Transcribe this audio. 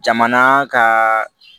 Jamana kaaa